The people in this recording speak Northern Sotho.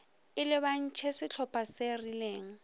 e lebantšhe sehlopa se rileng